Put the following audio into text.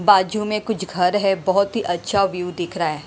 बाजू में कुछ घर है बहुत ही अच्छा व्यू दिख रहा है।